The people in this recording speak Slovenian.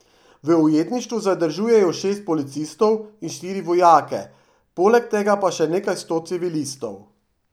V ujetništvu zadržujejo šest policistov in štiri vojake, poleg tega pa še nekaj sto civilistov.